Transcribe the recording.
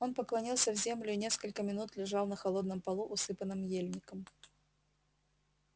он поклонился в землю и несколько минут лежал на холодном полу усыпанном ельником